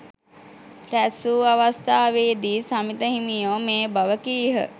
රැස්වූ අවස්ථාවේදී සමිත හිමියෝ මේ බව කීහ.